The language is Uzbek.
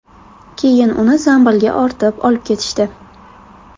Keyin uni zambilga ortib olib ketishdi.